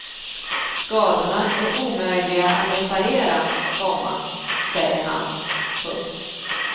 Skadorna är omöjliga att reparera, komma säger han. punkt